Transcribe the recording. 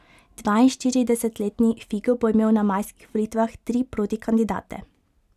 Dvainštiridesetletni Figo bo imel na majskih volitvah tri protikandidate.